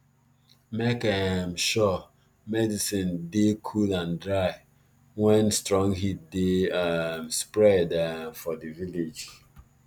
make um sure medicin dey cool and dry wen strong heat dey um spread um for di village